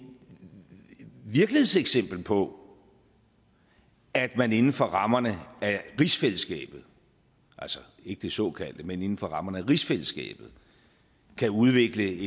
virkelighedseksempel på at man inden for rammerne af rigsfællesskabet altså ikke det såkaldte men inden for rammerne af rigsfællesskabet kan udvikle